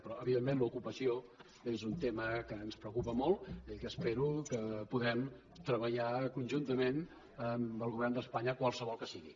però evidentment l’ocupació és un tema que ens preocupa molt i que espero que podrem treballar conjuntament amb el govern d’espanya qualsevol que sigui